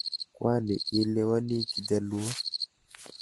Kwani ielewani kijaluo?